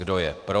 Kdo je pro?